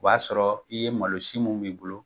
O b'a sɔrɔ i ye malo si mun b'i bolo.